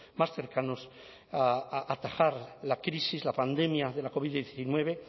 más cercanos a atajar la crisis la pandemia de la covid diecinueve